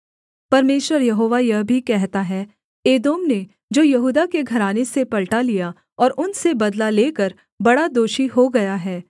परमेश्वर यहोवा यह भी कहता है एदोम ने जो यहूदा के घराने से पलटा लिया और उनसे बदला लेकर बड़ा दोषी हो गया है